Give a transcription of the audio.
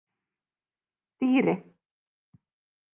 Dýri